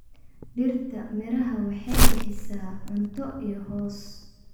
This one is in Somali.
Dhirta miraha waxay bixisaa cunto iyo hoos.